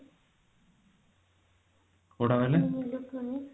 um electronics